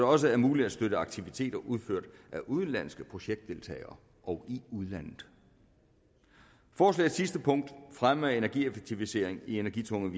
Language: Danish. også er muligt at støtte aktiviteter udført af udenlandske projektdeltagere og i udlandet forslagets sidste punkt om fremme af energieffektivisering i energitunge